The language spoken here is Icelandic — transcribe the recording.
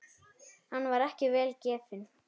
Hann var ekki vel gefinn.